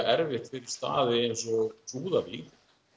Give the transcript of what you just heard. erfitt fyrir staði eins og Súðavík